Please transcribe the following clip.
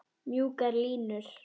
Mjúkar línur.